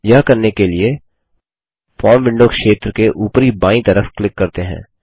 यह करने के लिए फॉर्म विंडो क्षेत्र के उपरी बायीं तरफ क्लिक करते हैं